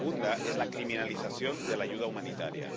Y el segundo es la criminalización de la ayuda humanitaria.